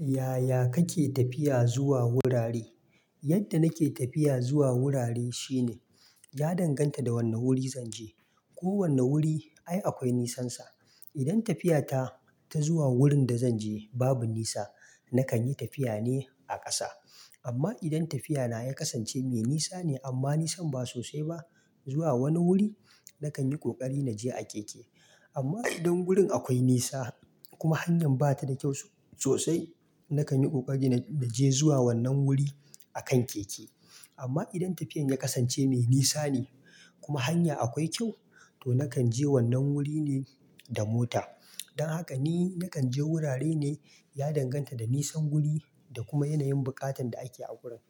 Yaya kake tafiya zuwa wurare? Yadda nake tafiya zuwa wurare shine, ya danganta da wane wuri zan je. Ko wane wuri ai akwai nisansa. Idan tafiyata ta zuwa wurin da zan je babu nisa, na kan yi tafiya ne a ƙasa. Amma idan tafiyana ya kasance mai nisa ne amma nisan ba sosai ba zuwa wani wuri, na kan yi ƙoƙari na je a keke. Amma idan wurin akwai nisa kuma hanya bata da kyau sosai, na kan yi ƙoƙari na je zuwa wannan wuri akan keke. Amma idan tafiyan ya kasance mai nisa ne kuma hanya akwai kyau, to nakan je wannan wuri ne da mota. Dan haka ni nakan je wurare ne ya danganta da nisan wuri da kuma yanayin buƙatan da ake a wurin.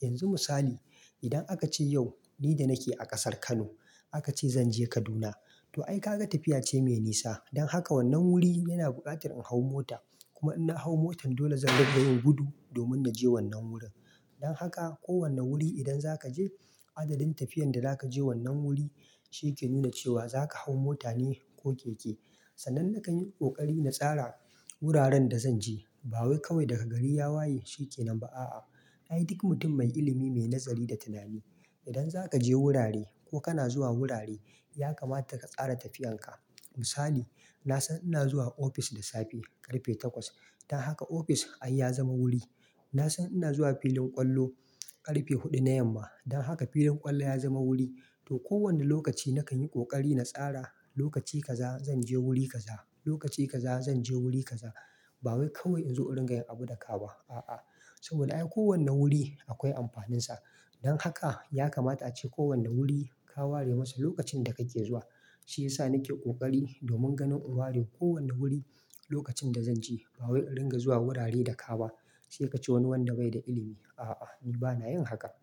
Yanzu misali, idan aka ce yau ni da nake a ƙasar Kano aka ce zan je Kaduna, to ai kaga tafiya ce mai nisa. Dan haka wannan wuri yana buƙatar in hau mota. Kuma in na hau motan, dole zan dunga yin gudu domin na je wannan wurin. Dan haka kowane wuri idan zaka je, adadin tafiyan da zaka je wannan wuri shi ke nuna cewa za ka hau mota ne ko keke. Sannan na kan yi ƙoƙari na tsara wuraren da zan je. Ba wai kawai daga gari ya waye shi ke nan ba, a'a, ai duk mutum mai ilimi, mai nazari da tunani. Idan za ka je wurare ko kana zuwa wurare, ya kamata ka tsara tafiyan ka. Misali, na san ina zuwa ofis da safe karfe takwas. Dan haka ofis ai ya zama wuri. Na san ina zuwa filin ƙwallo karfe huɗu na yamma. Dan haka filin ƙwallo ya zama wuri. To kowane lokaci nakan yi ƙoƙari na tsara lokaci kaza zan je wuri kaza, lokaci kaza zan je wuri kaza. Ba wai kawai in zo in ringa yin abu da ka ba. A'a. Saboda ai kowane wuri akwai amfaninsa. Dan haka ya kamata ace kowane wuri ka ware masa lokacin da kake zuwa. Shiyasa nake ƙoƙari domin ganin in ware kowane wuri lokacin da zan je. Ba wai in ringa zuwa wurare da ka ba, sai ka ce wani wanda bai da ilimi. A'a, ni bana yin haka.